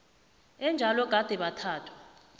enjalo gade bathathwa